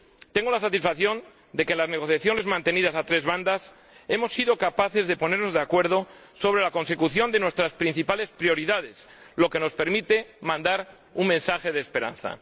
Tengo la satisfacción de que en las negociaciones mantenidas a tres bandas hemos sido capaces de ponernos de acuerdo sobre la consecución de nuestras principales prioridades, lo que nos permite mandar un mensaje de esperanza.